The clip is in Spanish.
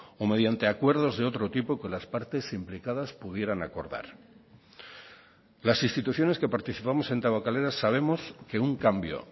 o mediante acuerdos de otro tipo que las partes implicadas pudieran acordar las instituciones que participamos en tabakalera sabemos que un cambio